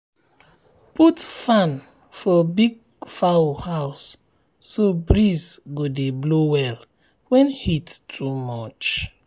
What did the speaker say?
put fan for big fowl house so breeze go dey blow well when heat too much.